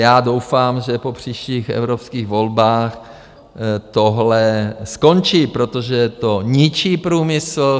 Já doufám, že po příštích evropských volbách tohle skončí, protože to ničí průmysl.